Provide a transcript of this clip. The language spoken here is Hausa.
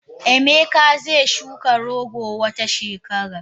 Emeka ze shuka rogo Wata shekaran.